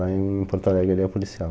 Lá em Porto Alegre ele é policial.